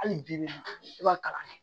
Hali bi bi in na i b'a kalan kɛ